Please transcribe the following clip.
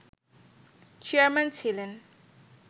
chairman ছিলেন